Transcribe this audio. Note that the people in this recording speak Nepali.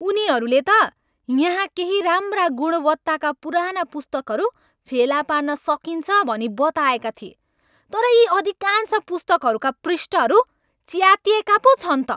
उनीहरूले त यहाँ केही राम्रा गुणवत्ताका पुराना पुस्तकहरू फेला पार्न सकिन्छ भनी बताएका थिए तर यी अधिकांश पुस्तकहरूका पृष्ठहरू च्यातिएका पो छन् त।